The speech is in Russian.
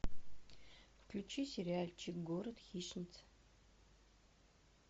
включи сериальчик город хищниц